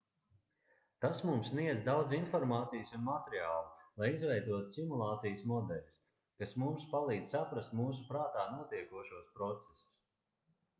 tas mums sniedz daudz informācijas un materiālu lai izveidotu simulācijas modeļus kas mums palīdz saprast mūsu prātā notiekošos procesus